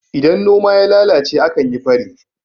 idan noma ya lalace a kan yi faro